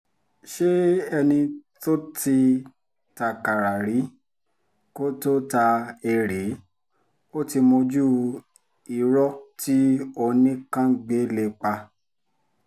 ṣé ẹni tó ti takára rí kó tóó ta erée ó ti mójú irọ́ tí oníkàngbé lè pa